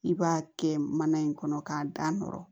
I b'a kɛ mana in kɔnɔ k'a da nɔrɔ